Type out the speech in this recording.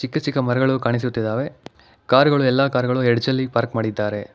ಚಿಕ್ಕ ಚಿಕ್ಕ ಮರಗಳು ಕಾಣಿಸುತ್ತಿದ್ದಾವೆ ಕಾರು ಗಳು ಎಲ್ಲಾ ಕಾರು ಗಳು ಎಡ್ಜ್ ಅಲ್ಲಿ ಪಾರ್ಕ್ ಮಾಡಿದ್ದಾರೆ.